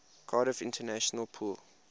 cardiff international pool